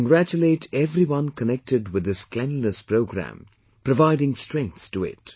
I congratulate everyone connected with this Cleanliness programme providing strength to it